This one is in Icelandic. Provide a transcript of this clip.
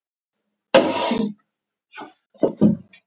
Yfir mér, yfir mér.